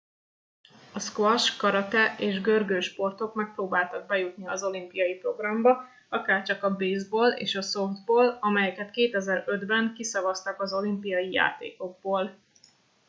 a squash karate és görgősportok megpróbáltak bejutni az olimpiai programba akárcsak a baseball és a softball amelyeket 2005 ben kiszavaztak az olimpiai játékokból